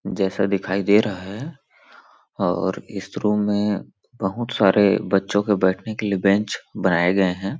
जैसा दिखाई दे रहा है और इस रूम में बहुत सारॆ बच्चों के बैठने के लिए बेंच बनाये गये हैं ।